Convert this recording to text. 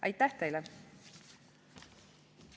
Aitäh teile!